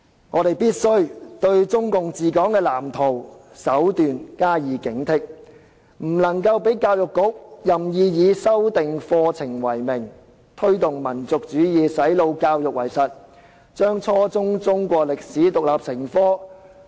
我們必須對中共的治港藍圖和手段加以警惕，不能讓教育局任意以修訂課程為名，推動民族主義、"洗腦"教育為實，規定初中中史獨立成科。